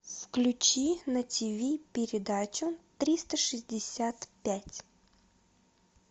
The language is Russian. включи на тв передачу триста шестьдесят пять